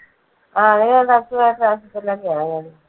ആ ഏതാണ്ട് അസുഖം ആയിട്ട് ആശുപത്രിയിൽ ഒക്കെ ആയിരുന്നു.